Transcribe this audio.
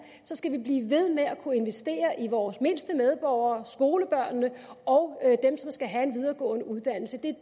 så skal vi blive ved med at kunne investere i vores mindste medborgere skolebørnene og dem som skal have en videregående uddannelse det